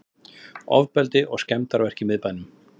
Ofbeldi og skemmdarverk í miðbænum